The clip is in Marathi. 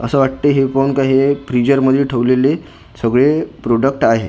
असं वाटतंय हे पाहून काही हे फ्रीजर मध्ये ठेवलेले सगळे प्रोडक्ट आहे .